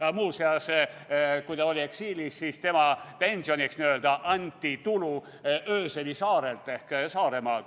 Aga muuseas, kui ta oli eksiilis, siis tema pensioniks n-ö anti tulu Öseli saarelt ehk Saaremaalt.